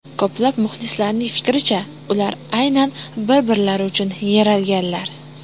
Ko‘plab muxlislarning fikricha, ular aynan bir-birlari uchun yaralganlar.